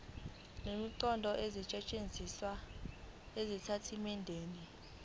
nemiqondo esetshenzisiwe ezitatimendeni